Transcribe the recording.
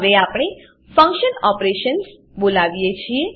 હવે આપણે function operations function operations બોલાવીએ છીએ